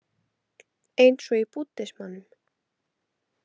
Eins og í búddismanum.